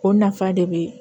O nafa de be